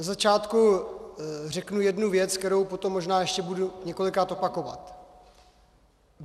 Na začátku řeknu jednu věc, kterou potom možná ještě budu několikrát opakovat.